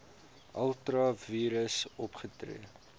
ultra vires opgetree